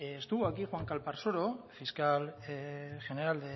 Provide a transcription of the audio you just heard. estuvo aquí juan calparcasolo fiscal general